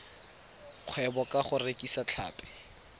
kgwebo ka go rekisa tlhapi